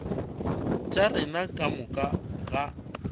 tša rena ka moka ga